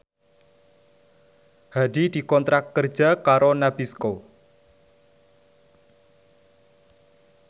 Hadi dikontrak kerja karo Nabisco